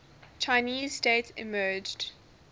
chinese state emerged